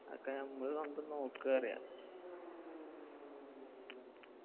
അതൊക്കെ നമ്മള് സ്വന്തം നോക്ക് പറയാ